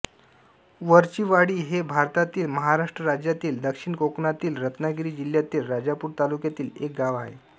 वरचीवाडी हे भारतातील महाराष्ट्र राज्यातील दक्षिण कोकणातील रत्नागिरी जिल्ह्यातील राजापूर तालुक्यातील एक गाव आहे